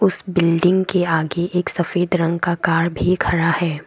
उस बिल्डिंग के आगे एक सफेद रंग का कार भी खरा है।